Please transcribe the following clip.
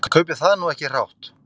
Ég kaupi það nú ekki hrátt.